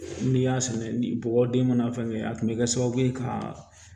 N'i y'a sɛnɛ ni bɔgɔ den mana fɛngɛ a kun bɛ kɛ sababu ye ka